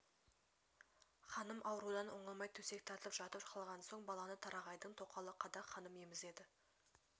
ханым аурудан оңалмай төсек тартып жатып қалған соң баланы тарағайдың тоқалы қадақ ханым емізеді